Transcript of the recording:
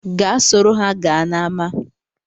Gaa soro ha gaa n’ama